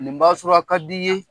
Nin b'a sɔrɔ a ka di ye.